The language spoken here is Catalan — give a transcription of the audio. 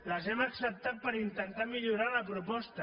les hem acceptat per intentar millorar la proposta